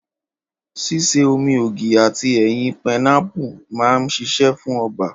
Ṣíṣe omi ògì àti ẹ̀yin painapu man sisé fún ọba